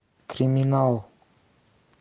криминал